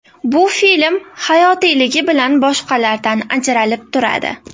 Bu film hayotiyligi bilan boshqalardan ajralib turadi.